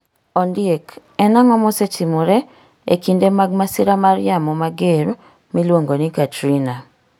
Ondiek en ang'o mosetimore e kinde mag masira mar yamo mager miluongo ni Katrina